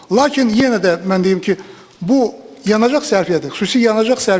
Lakin yenə də mən deyim ki, bu yanacaq sərfiyyatı, xüsusi yanacaq sərfiyyatı.